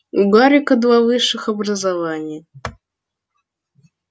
у гарика два высших образования